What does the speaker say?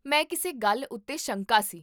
ਮੈਂ ਕਿਸੇ ਗੱਲ ਉੱਤੇ ਸ਼ੰਕਾ ਸੀ